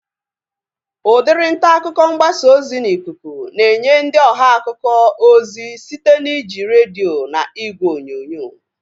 Udiri ntaakụkọ mgbasa ozi n'ikuku na-enye ndị ọha akụkọ ozi site na iji redio na ìgwè onyonyo